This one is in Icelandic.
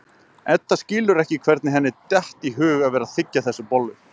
Edda skilur ekki hvernig henni datt í hug að vera að þiggja þessa bollu.